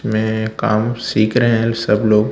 में काम सीख रहे हैं सब लोग--